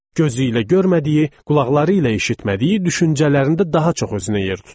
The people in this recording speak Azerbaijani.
Gözü ilə görmədiyi, qulaqları ilə eşitmədiyi düşüncələrində daha çox özünə yer tutur.